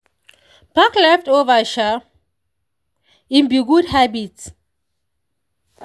pack leftover i'm be good habit.